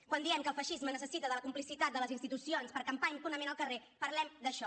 quan diem que el feixisme necessita la complicitat de les institucions per campar impunement al carrer parlem d’això